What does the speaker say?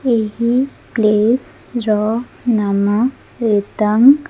ଏହି ପ୍ଲେସ ର ନାମ ରେଦାଙ୍କ୍।